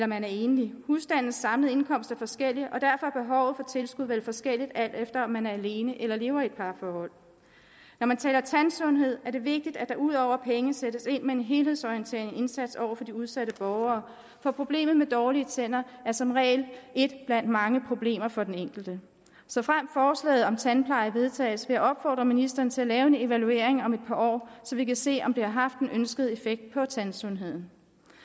man er enlig husstandens samlede indkomst er forskellig og derfor er behovet for tilskud vel forskelligt alt efter om man er alene eller lever i et parforhold når man taler tandsundhed er det vigtigt at der ud over penge sættes ind med en helhedsorienteret indsats over for de udsatte borgere for problemet med dårlige tænder er som regel et blandt mange problemer for den enkelte såfremt forslaget om tandpleje vedtages vil jeg opfordre ministeren til at lave en evaluering om et par år så vi kan se om det har haft den ønskede effekt på tandsundheden